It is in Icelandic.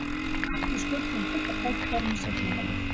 Við sköpuðum fullt af tækifærum í seinni hálfleik.